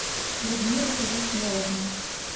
людмила хажисмеловна